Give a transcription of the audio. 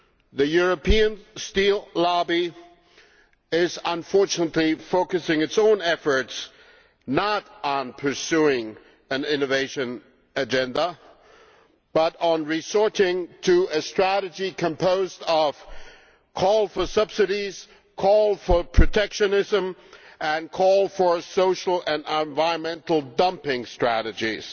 The European steel lobby is, unfortunately, focusing its own efforts not on pursuing an innovation agenda but on resorting to a strategy composed of calls for subsidies, calls for protectionism and calls for social and environmental dumping strategies.